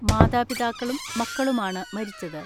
മാതാപിതാക്കളും മക്കളുമാണ് മരിച്ചത്.